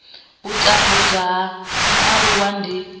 u tambudzwa ha mualuwa ndi